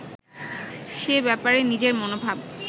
সে ব্যাপারে নিজের মনোভাব